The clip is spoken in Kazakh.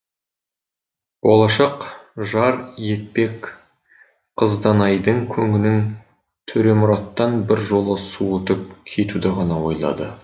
болашақ жар етпек қызданайдың көңілін төремұраттан біржола суытып кетуді ғана ойлады